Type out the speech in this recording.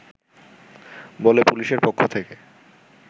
বলে পুলিশের পক্ষ থেকে